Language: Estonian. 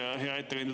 Hea ettekandja!